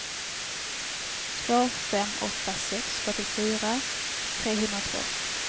två fem åtta sex fyrtiofyra trehundratvå